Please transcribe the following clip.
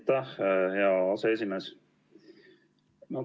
Aitäh, hea aseesimees!